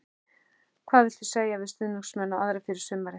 Hvað viltu segja við stuðningsmenn og aðra fyrir sumarið?